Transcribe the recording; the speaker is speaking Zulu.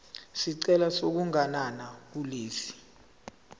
isicelo sokuganana kulesi